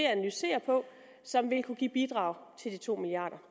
analysere og som vil kunne bidrage til de to milliard